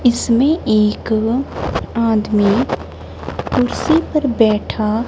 इसमें एक आदमी कुर्सी पर बैठा--